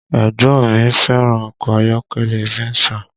Ẹ̀gbọ́n mi fẹ́ràn ọkọ ayọ́kẹ́lẹ́ Venza